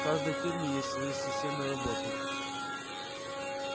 каждой фирме есть свои системы работы